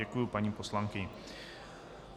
Děkuji paní poslankyni.